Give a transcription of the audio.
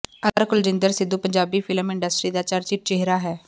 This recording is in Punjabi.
ਅਦਾਕਾਰ ਕੁਲਜਿੰਦਰ ਸਿੱਧੂ ਪੰਜਾਬੀ ਫ਼ਿਲਮ ਇੰਡਸਟਰੀ ਦਾ ਚਰਚਿਤ ਚਿਹਰਾ ਹੈ